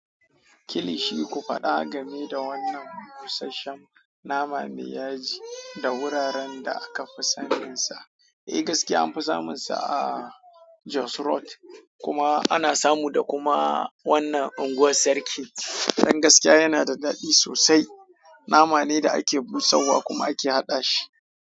Kilishi, ku faɗa game da wannan busasshen nama me ya ji da wuraren da aka fi saninsa. Eh gaskiya anfi samunsa a Jos Road kuma ana samu da kuma wannan unguwar sarki. Dan gaskiya yana da daɗi sosai. Nama ne da ake busar wa kuma ake haɗa shi.